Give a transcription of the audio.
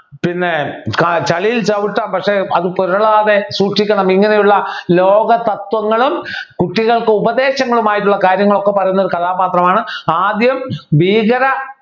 പിന്നെ ചളിയിൽ ചവിട്ടാ പക്ഷേ അത് പുരളാതെ സൂക്ഷിക്കണം ഇങ്ങനെയുള്ള ലോക തത്വങ്ങളും കുട്ടികൾക്ക് ഉപദേശങ്ങളും ആയിട്ടുള്ള കാര്യങ്ങളൊക്കെ പറയുന്ന ഒരു കഥാപാത്രമാണ് ആദ്യം ഭീകര